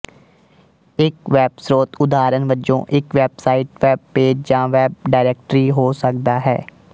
ਇੱਕ ਵੈੱਬ ਸਰੋਤ ਉਦਾਹਰਣ ਵਜੋਂ ਇੱਕ ਵੈਬਸਾਈਟ ਵੈਬ ਪੇਜ ਜਾਂ ਵੈਬ ਡਾਇਰੈਕਟਰੀ ਹੋ ਸਕਦਾ ਹੈ